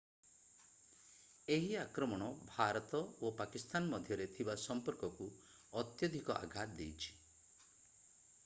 ଏହି ଆକ୍ରମଣ ଭାରତ ଓ ପାକିସ୍ଥାନ ମଧ୍ୟରେ ଥିବା ସମ୍ପର୍କକୁ ଅତ୍ୟଧିକ ଆଘାତ ଦେଇଛି